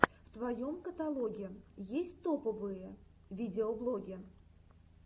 в твоем каталоге есть топовые видеоблоги